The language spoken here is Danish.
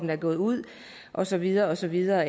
er gået ud og så videre og så videre